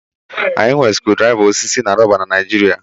Anyị nwere screwdrivers osisi na rọba na Nigeria